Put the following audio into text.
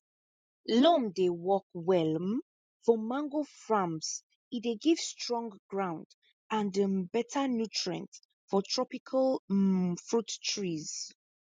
loam dey work well um for mango farms e dey give strong ground and um better nutrient for tropical um fruit trees